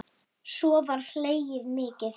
Svo var hlegið mikið.